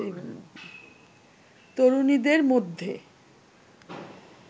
তরুণীদের মধ্যে